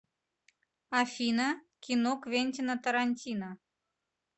афина кино квентино тарантино